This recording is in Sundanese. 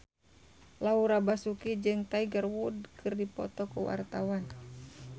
Laura Basuki jeung Tiger Wood keur dipoto ku wartawan